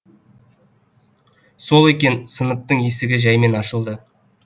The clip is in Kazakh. сол екен сыныптың есігі жәймен ашылды